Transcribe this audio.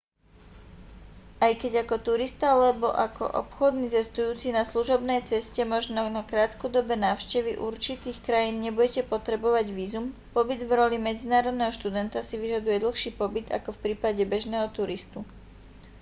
aj keď ako turista alebo ako obchodný cestujúci na služobnej ceste možno na krátkodobé návštevy určitých krajín nebudete potrebovať vízum pobyt v roli medzinárodného študenta si vyžaduje dlhší pobyt ako v prípade bežného turistu